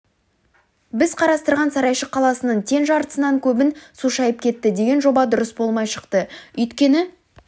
біз қарастырған сарайшық қаласының тең жартысынан көбін су шайып кетті деген жоба дұрыс болмай шықты өйткені